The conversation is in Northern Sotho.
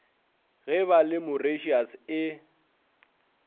ge ba le mauritius e